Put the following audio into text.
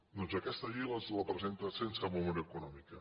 doncs aquesta llei ens la presenten sense memòria econòmica